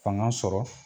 Fanga sɔrɔ